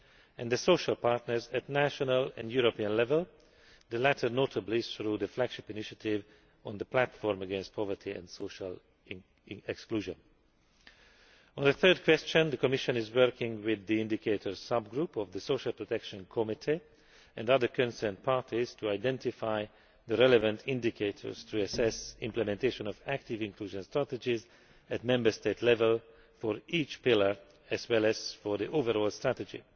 and the social partners at national and European level, the latter notably through the flagship initiative on the platform against poverty and social exclusion. On the third question, the Commission is working with the Indicators Sub Group of the Social Protection Committee and other concerned parties to identify the relevant indicators to assess implementation of active inclusion strategies at Member State level for each pillar, as well as for the overall strategy.